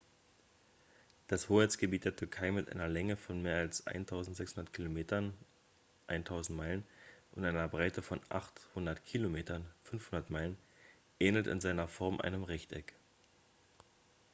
das hoheitsgebiet der türkei mit einer länge von mehr als 1.600 kilometern 1.000 meilen und einer breite von 800 kilometern 500 meilen ähnelt in seiner form einem rechteck